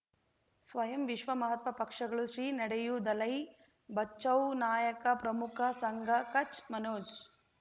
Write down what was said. ಸ್ವಯಂ ವಿಶ್ವ ಮಹಾತ್ಮ ಪಕ್ಷಗಳು ಶ್ರೀ ನಡೆಯೂ ದಲೈ ಬಚೌ ನಾಯಕ ಪ್ರಮುಖ ಸಂಘ ಕಚ್ ಮನೋಜ್